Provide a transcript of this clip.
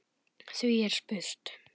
Því er spurt: